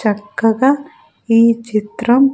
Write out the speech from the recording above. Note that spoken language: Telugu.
చక్కగా ఈ చిత్రం.